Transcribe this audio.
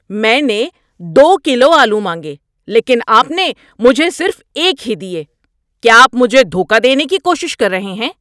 میں نے دو کلو آلو مانگے لیکن آپ نے مجھے صرف ایک ہی دیے۔ کیا آپ مجھے دھوکہ دینے کی کوشش کر رہے ہیں؟